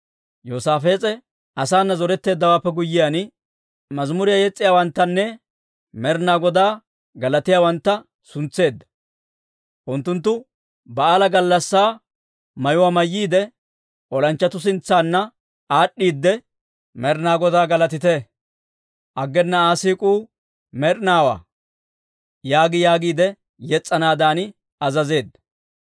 Yoosaafees'e asaana zoretteeddawaappe guyyiyaan, mazimuriyaa yes's'iyaawanttanne Med'inaa Godaa galatiyaawantta suntseedda. Unttunttu ba'aala gallassaa mayuwaa mayyiide, olanchchatuu sintsanna aad'd'iide, «Med'inaa Godaa galatite! Aggena Aa siik'uu med'inaawaa» yaagi yaagiide yes's'anaadan azazeedda.